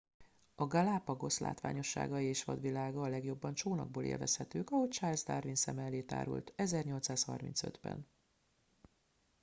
a galápagosz látványosságai és vadvilága a legjobban csónakból élvezhetők ahogy charles darwin szeme elé tárult 1835 ben